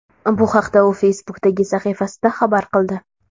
Bu haqda u Facebook’dagi sahifasida xabar qildi .